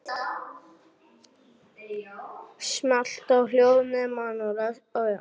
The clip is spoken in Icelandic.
En ósköp tók hann þetta nærri sér.